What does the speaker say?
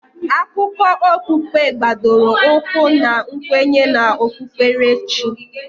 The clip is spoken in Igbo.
Akụkọ okpukpe gbadoro ụkwụ na nkwenye na okpukperechi.